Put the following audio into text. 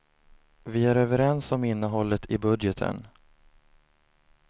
Vi är överens om innehållet i budgeten.